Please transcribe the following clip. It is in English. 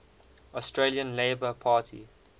australian labor party